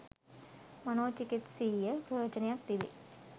මනෝචිකිත්සීය ප්‍රයෝජනයක් තිබේ.